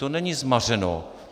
To není zmařeno.